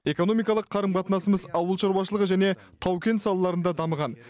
экономикалық қарым қатынасымыз ауыл шаруашылығы және тау кен салаларында дамыған